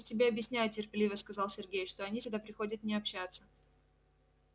я же тебе объясняю терпеливо сказал сергей что они сюда приходят не общаться